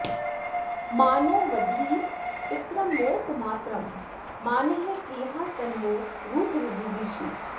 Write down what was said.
मानो वधीः पितरं मोत मातरं मानः प्रियास्तन्वो रुद्र रीरिषः